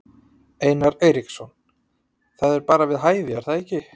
Einar Eiríksson: Það er bara við hæfi er það ekki?